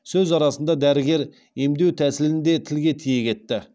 сөз арасында дәрігер емдеу тәсілін де тілге тиек етті